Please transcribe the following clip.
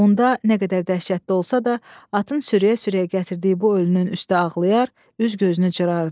Onda nə qədər dəhşətli olsa da, atın sürüyə-sürüyə gətirdiyi bu ölünün üstə ağlayar, üz-gözünü cırardı.